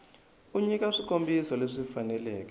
u nyika swikombiso leswi faneleke